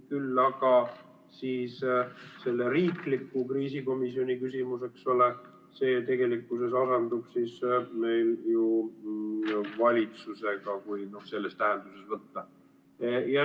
Küll aga on selle riikliku kriisikomisjoni küsimus, eks ole, see asendub meil ju valitsusega, kui selles tähenduses võtta.